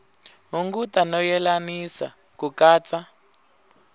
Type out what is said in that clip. hunguta no yelanisa ku katsa